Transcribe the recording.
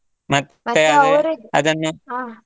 ಹಾ.